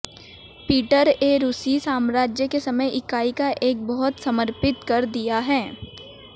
Peter ए रूसी साम्राज्य के समय इकाई का एक बहुत समर्पित कर दिया